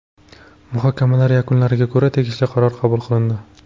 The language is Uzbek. Muhokamalar yakunlariga ko‘ra tegishli qarorlar qabul qilindi.